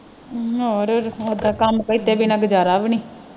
ਹਮ ਹੋਰ ਇਦਾਂ ਕੰਮ ਕੀਤੇ ਬਿਨਾਂ ਗੁਜਾਰਾ ਵੀ ਨਹੀਂ।